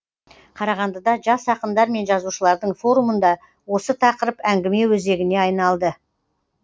қарағандыда жас ақындар мен жазушылардың форумында осы тақырып әңгіме өзегіне айналды